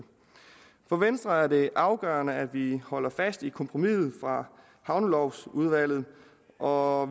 for venstre er det afgørende at vi holder fast i kompromiset fra havnelovudvalget og